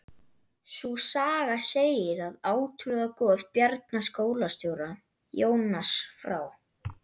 Sú saga segir að átrúnaðargoð Bjarna skólastjóra, Jónas frá